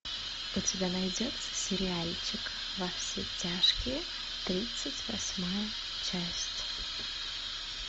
у тебя найдется сериальчик во все тяжкие тридцать восьмая часть